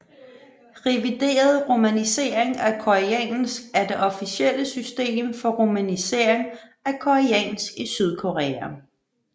Revideret romanisering af koreansk er det officielle system for romanisering af koreansk i Sydkorea